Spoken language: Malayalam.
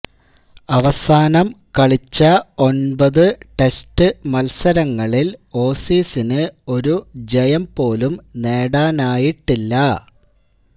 അവസാനം കളിച്ച ഒന്പതു ടെസ്റ്റ് മത്സരങ്ങളില് ഓസീസിന് ഒരു ജയം പോലും നേടാനായിട്ടില്ല